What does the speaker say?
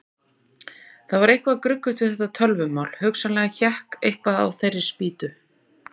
Það var eitthvað gruggugt við þetta tölvumál, hugsanlega hékk eitthvað á þeirri spýtu.